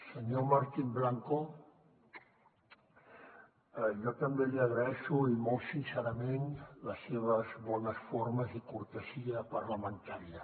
senyor martín blanco jo també li agraeixo i molt sincerament les seves bones formes i cortesia parlamentària